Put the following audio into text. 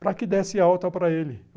para que desse alta para ele.